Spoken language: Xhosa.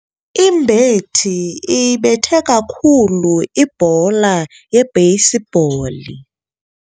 Imbethi iyibethe kakhulu ibhola yebheyisibhola.